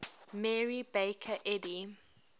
mary baker eddy